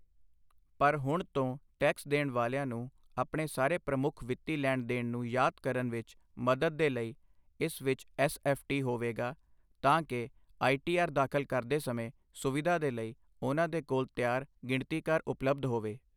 ਪਰ ਹੁਣ ਤੋਂ ਟੈਕਸ ਦੇਣ ਵਾਲਿਆਂ ਨੂੰ ਆਪਣੇ ਸਾਰੇ ਪ੍ਰਮੁੱਖ ਵਿੱਤੀ ਲੈਣ ਦੇਣ ਨੂੰ ਯਾਦ ਕਰਨ ਵਿੱਚ ਮਦਦ ਦੇ ਲਈ ਇਸ ਵਿੱਚ ਐੱਸ ਐੱਫ਼ ਟੀ ਹੋਵੇਗਾ, ਤਾਂ ਕਿ ਆਈ ਟੀ ਆਰ ਦਾਖ਼ਲ ਕਰਦੇ ਸਮੇਂ ਸੁਵਿਧਾ ਦੇ ਲਈ ਉਨ੍ਹਾਂ ਦੇ ਕੋਲ ਤਿਆਰ ਗਿਣਤੀਕਾਰ ਉਪਲਬਧ ਹੋਵੇ।